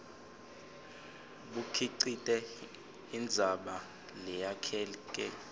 bukhicite indzaba leyakheke